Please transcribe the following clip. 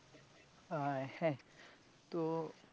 আহহ হ্যাঁ তো.